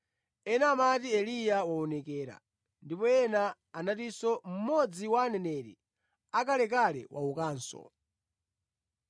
ena amati Eliya waonekera, ndipo ena anatinso mmodzi wa aneneri akalekale waukanso.